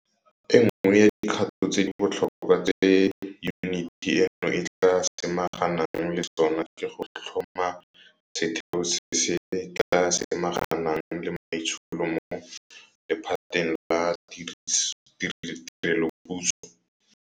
E nngwe ya dikgato tse di botlhokwa tse yuniti eno e tla samaganang le tsona ke go tlhoma setheo se se tla samaganang le maitsholo mo lephateng la tirelopuso.